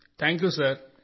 thank you sir